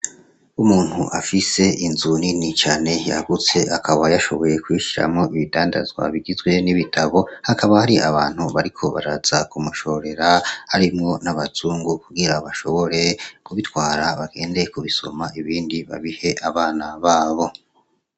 Umuntu afise inzu nini cane yagutse akaba yashoboye kuyishiramwo ibidandazwa bigizwe n'ibitabo, hakaba hari abantu bariko baraza kumushorera harimwo n'abazungu kugira bashobore kubitwara bagende kubisoma ibindi babihe bana babo.